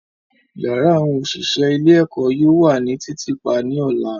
Yara awọn oṣiṣẹ ile-eko yoo wa ni titiipa ni ọla.